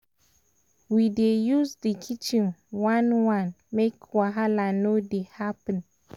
we dey use di kitchen one by one make no wahala dey happen.